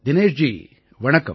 தினேஷ் ஜி வணக்கம்